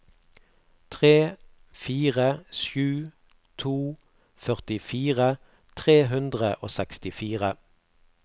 tre fire sju to førtifire tre hundre og sekstifire